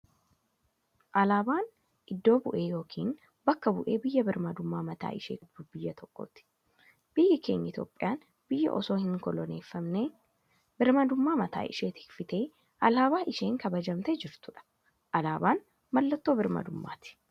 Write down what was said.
Alaabaan iddoo bu'ee yookiin bakka bu'ee biyya birmmadummaa mataa ishee qabdu tokkooti. Biyyi keenya Itoophiyaan biyya osoo hin koloneeffamne birmmadummaa mataa ishee tifkattee alaabaa isheen kabajamtee jirtudha. Alaabaan mallattoo birmmadummaati.